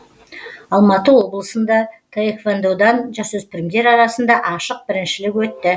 алматы облысында таэквондадан жасөспірімдер арасында ашық біріншілік өтті